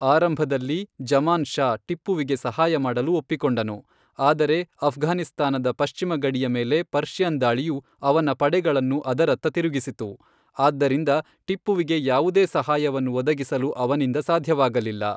ಆರಂಭದಲ್ಲಿ ಜಮಾನ್ ಷಾ ಟಿಪ್ಪುವಿಗೆ ಸಹಾಯ ಮಾಡಲು ಒಪ್ಪಿಕೊಂಡನು, ಆದರೆ ಆಫ್ಘಾನಿಸ್ತಾನದ ಪಶ್ಚಿಮ ಗಡಿಯ ಮೇಲೆ ಪರ್ಷಿಯನ್ ದಾಳಿಯು ಅವನ ಪಡೆಗಳನ್ನು ಅದರತ್ತ ತಿರುಗಿಸಿತು, ಆದ್ದರಿಂದ ಟಿಪ್ಪುವಿಗೆ ಯಾವುದೇ ಸಹಾಯವನ್ನು ಒದಗಿಸಲು ಅವನಿಂದ ಸಾಧ್ಯವಾಗಲಿಲ್ಲ.